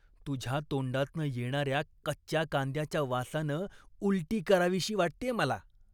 तुझ्या तोंडातनं येणाऱ्या कच्च्या कांद्याच्या वासानं उलटी करावीशी वाटतेय मला.